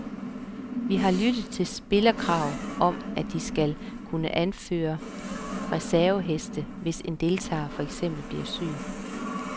Vi har lyttet til spillerkrav om, at de selv skal kunne anføre reserveheste, hvis en deltager for eksempel bliver syg.